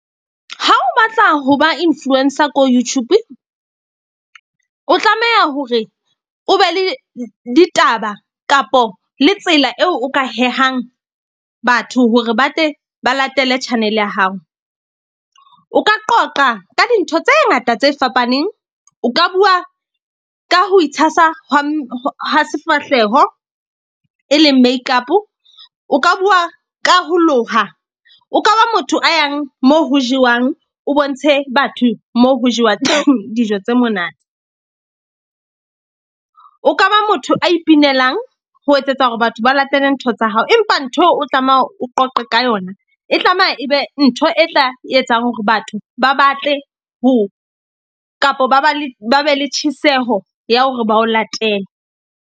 Ha o batla ho ba influencer ko YouTube, o tlameha hore o be le ditaba kapo le tsela eo o ka hehang batho hore ba tle ba latele channel-e ya hao. O ka qoqa ka dintho tse ngata tse fapaneng. O ka bua ka ho itshasa hwa ha sefahleho, e leng makeup-o. O ka bua ka ho loha. O ka ba motho a yang moo ho jewang, o bontshe batho mo ho jewa dijo tse monate. O ka ba motho a ipinelang ho etsetsa hore batho ba latele ntho tsa hao. Empa ntho eo o tlamehang o qoqe ka yona e tlameha e be ntho e tla etsang hore batho ba batle ho, kapo ba ba le ba be le tjheseho ya hore ba o latele.